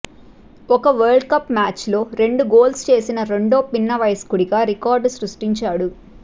ఒక వరల్డ్కప్ మ్యాచ్లో రెండు గోల్స్ చేసిన రెండో పిన్న వయస్కుడిగా రికార్డు సృష్టించాడు